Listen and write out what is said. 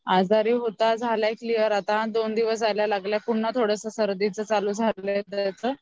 आजारी होता झालाय आता क्लियर दोन दिवस जायला लागले पुन्हा सर्दीचं झालय त्याचं